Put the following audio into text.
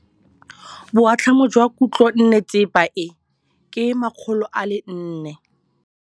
Boatlhamô jwa khutlonnetsepa e, ke 400.